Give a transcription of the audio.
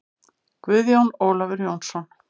Guðjón Ólafur Jónsson